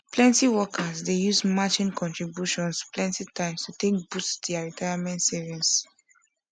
plenty workers dey use matching contributions plenty times to take boost their retirement savings